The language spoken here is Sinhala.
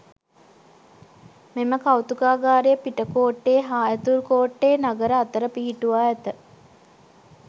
මෙම කෞතුකාගාරය පිටකෝට්ටේ හා ඇතුල්කෝට්ටේ නගර අතර පිහිටුවා ඇත.